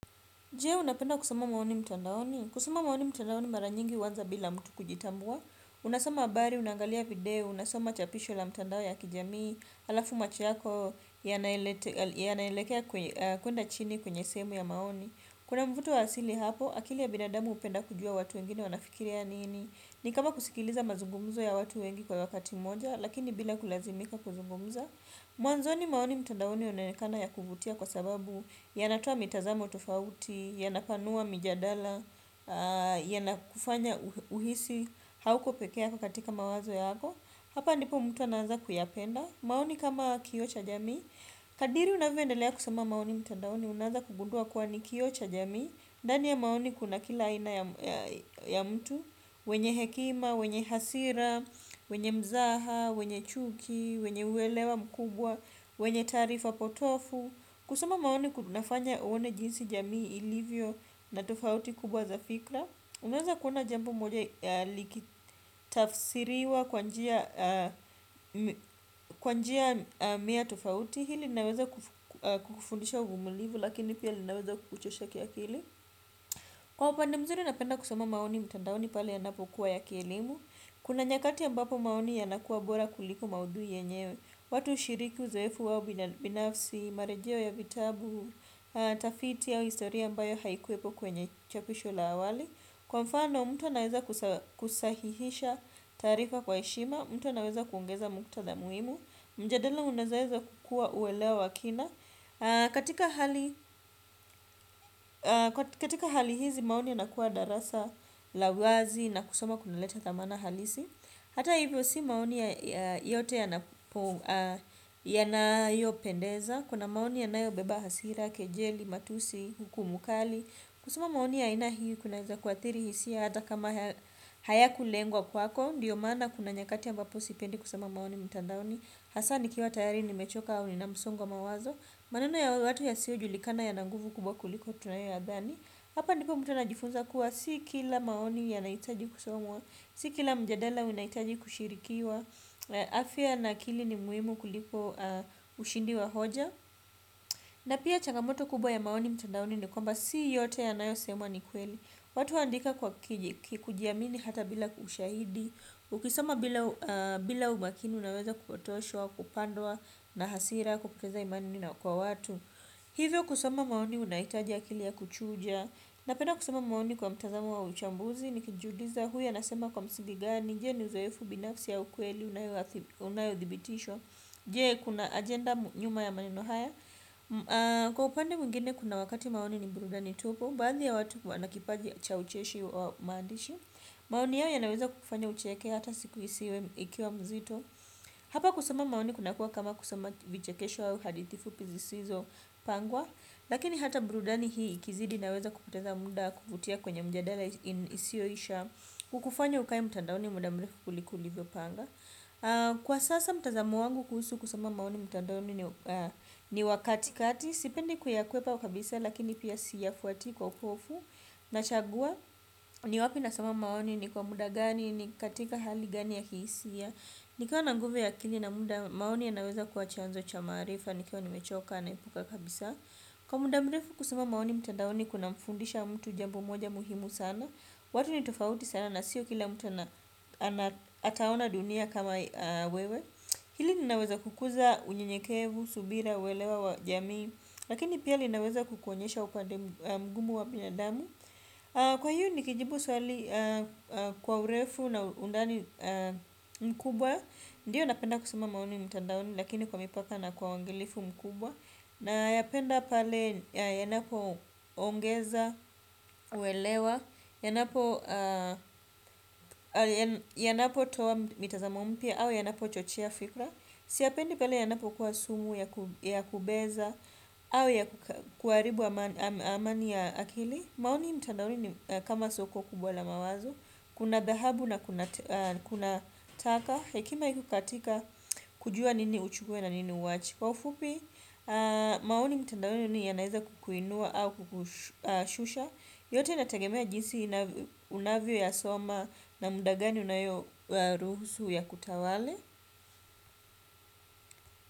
Je unapenda kusoma maoni mtandaoni. Kusoma maoni mtandaoni mara nyingi huanza bila mtu kujitambua. Unasoma habari, unaangalia video, unasoma chapisho la mtandao ya kijamii, alafu macho yako yanaelekea kuenda chini kwenye sehemu ya maoni. Kuna mvuto wa asili hapo, akili ya binadamu hupenda kujua watu wengine wanafikiria nini. Ni kama kusikiliza maoni ya watu wengi kwa wakati mmoja lakini bila kulazimika kuongea. Mwanzoni maoni mtandaoni unaonekana ya kuvutia kwa sababu yanatoa mitazamo tofauti, yanapanua mijadala, yanakufanya uhisi hauko pekee kwa katika mawazo yako. Hapa ndipo mtu anaanza kuyapenda. Maoni kama kioo cha jami. Kadiri unavyoendelea kusoma maoni mtandaoni unaanza kugundua kuwa ni kioo cha jamii. Ndani ya maoni kuna kila aina ya mtu, wenye hekima, wenye hasira, wenye mzaha, wenye chuki, wenye uwelewa mkubwa, wenye taarifa potovu. Kusoma maoni kunafanya uone jinsi jamii ilivyo na tofauti kubwa za fikra unaweza kuona jambo moja likitafsiriwa kwa njia kwa njia mia tofauti ili linaweza kukufundisha uvumulivu lakini pia linaweza kukuchosha kiakili. Kwa upande mzuri napenda kusoma maoni mtandaoni pale ya napokuwa ya kielimu. Kuna nyakati ambapo maoni yanakuwa bora kuliko maudhui yenyewe. Watu ushiriki uzoefu wao binafsi, marejeo ya vitabu, tafiti au historia ambayo haikuwepo kwenye chapisho la awali. Kwa mfano mtu anaweza kusahihisha taarifa kwa heshima, mtu anaweza kuongeza muktadha muhimu. Mjadala unaweza kukua uwelewa wa kina katika hali. Katika hali hizi maoni yanakuwa darasa la wazi na kusoma kunaleta dhamana halisi. Hata hivyo si maoni yote yanapo yanayopendeza. Kuna maoni yanayobeba hasira, kejeli, matusi, hukumu kali. Kusoma maoni ya aina hii kunaweza kuathiri hisia hata kama hayakulengwa kwako ndiyo maana kuna nyakati ambapo sipendi kusoma maoni mtandaoni. Hasa nikiwa tayari nimechoka au nina msongo wa mawazo. Maneno ya watu yasiyojulikana yana nguvu kubwa kuliko tunayoyadhani. Hapa ndipo mtu anajifunza kuwa si kila maoni yanahitaji kusomwa. Si kila mjadala unahitaji kushirikiwa. Afya na akili ni muhimu kuliko ushindi wa hoja. Na pia changamoto kubwa ya maoni mtandaoni ni kwamba si yote yanayosemwa ni kweli. Watu huandika kujiamini hata bila kwa ushahidi ukisoma bila umakini unaweza kupotoshwa kupandwa na hasir na kupoteza imani kwa watu. Hivyo kusoma maoni unahitaji akili ya kuchuja. Napenda kusoma maoni kwa mtazamo wa uchambuzi. Nikijiuliza huyu anasema kwa msingi gani. Je ni uzoefu binafsi ya ukweli Unayodhibitishwa. Je kuna agenda nyuma ya maneno haya. Kwa upande mwingine kuna wakati maoni ni burudani tupu. Baadhi ya watu huwa na kipaji cha ucheshi wa maandishi. Maoni yao yanaweza kufanya ucheke hata si kuhisi ikiwa mzito. Hapa kusoma maoni kunakuwa kama kusoma vichekesho au hadithi fupi ziisizo pangwa lakini hata burudani hii ikizidi inaweza kupoteza muda kuvutia kwenye mjadala isiyoisha kukufanya ukae mtandaoni muda mrefu kuliko ulivyopanga kwa sasa mtazamo wangu kuhusu kusoma maoni mtandaoni ni wa katikati sipendi kuyakwepa kabisa lakini siyafuati kwa upofu nachagua ni wapi nasoma maoni ni kwa muda gani ni katika hali gani ya kihisia nikiwa na nguvu ya akili na muda maoni yanaweza kuwa cha maarifa nikiwa nimechoka naepuka kabisa kwa muda mrefu kusoma maoni mtandaoni kunamfundisha mtu jambo moja muhimu sana watu ni tofauti sana na sio kila mtu ataona dunia kama wewe hili linaweza kukuza unyenyekevu, subira, uwelewa, wa jamii lakini pia linaweza kukuonyesha upande mgumu wa binadamu kwa hiyo nikijibu swali kwa urefu na undani mkubwa ndiyo napenda kusoma maoni mtandaoni lakini kwa mipaka na kwa uwangilifu mkubwa nayapenda pale yanapoongeza uelewa yanapo yanapo toa mitazamo mpya au yanapochochea fikra siyapendi pale yanapo kuwa sumu ya kubeza au ya kuharibu amani ya akili maoni mtandaoni kama soko kubwa la mawazo kuna dhahabu na kuna taka hekima iko katika kujua nini uchukue na nini uwache kwa ufupi. Maoni mtandaoni yanaeza kukuinua au kukushusha. Yote yanatagemea jinsi unavyo yasoma na muda gani unayoyaruhusu yakutawale.